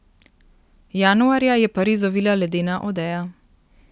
Januarja je Pariz ovila ledena odeja.